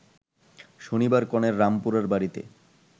শনিবার কনের রামপুরার বাড়িতে